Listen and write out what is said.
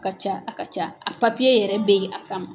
ka ca a ka ca a yɛrɛ bɛ ye a kama.